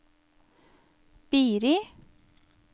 Biri